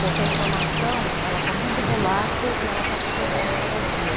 Porque a informação está muito volátil e ela está se perdendo a cada dia.